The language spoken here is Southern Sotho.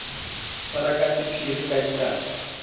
tshwarwa ka sephiri ka dinako